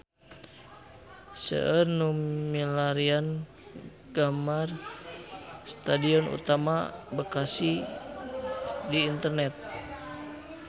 Seueur nu milarian gambar Stadion Utama Bekasi di internet